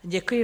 Děkuji.